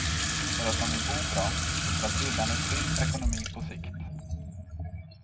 För att de vill bo bra och för att villan är trygg ekonomi på sikt.